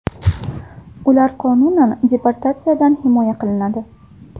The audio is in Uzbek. Ular qonunan deportatsiyadan himoya qilinadi.